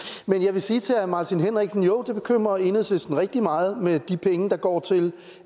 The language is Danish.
vil sige til herre martin henriksen jo det bekymrer enhedslisten rigtig meget med de penge der går til